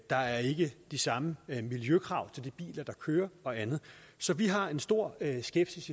der er ikke de samme miljøkrav til de biler der kører og andet så vi har en stor skepsis